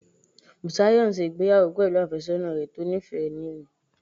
Bùsáyọ̀ n ṣe ìgbéyàwó pẹ̀lú àfẹ́sọ́nà rẹ̀ tó níìfẹ́ ní òní